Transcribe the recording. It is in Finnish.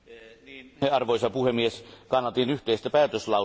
Arvoisa puhemies, kannatin yhteistä päätöslauselmaa.